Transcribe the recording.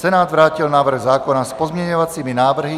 Senát vrátil návrh zákona s pozměňovacími návrhy.